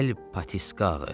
Əl patiskağı.